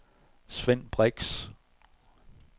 Svend Brix